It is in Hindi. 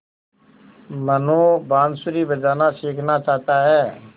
मनु बाँसुरी बजाना सीखना चाहता है